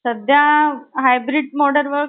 सध्या hybrid model work